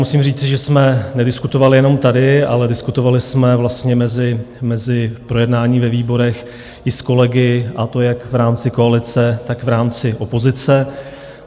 Musím říci, že jsme nediskutovali jenom tady, ale diskutovali jsme vlastně mezi projednáním ve výborech i s kolegy, a to jak v rámci koalice, tak v rámci opozice.